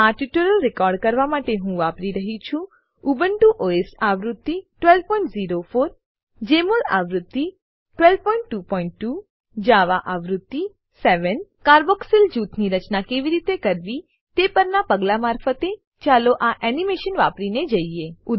આ tutorial record કરવા માટે હું વાપરી રહ્યી છું ઉબુન્ટુ ઓએસ આવૃત્તિ 1204 જમોલ આવૃત્તિ 1222 જાવા આવૃત્તિ 7 કાર્બોક્સિલ જૂથની રચના કેવી રીતે કરવી તે પરનાં પગલાં મારફતે ચાલો આ એનીમેશન વાપરીને જઈએ